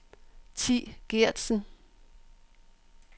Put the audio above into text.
Thi Geertsen